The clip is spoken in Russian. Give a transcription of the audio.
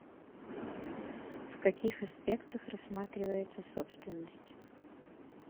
в каких аспектах рассматривается собственность